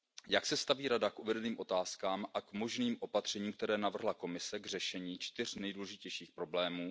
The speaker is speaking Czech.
Jak se staví Rada k uvedeným otázkám a k možným opatřením, která navrhla Komise k řešení čtyř nejdůležitějších problémů?